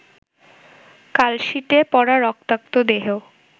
কালশিটে পড়া রক্তাক্ত দেহ